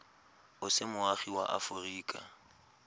o se moagi wa aforika